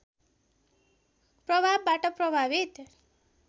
प्रभावबाट प्रभावित